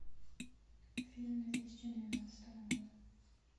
фильм две тысячи двенадцатого года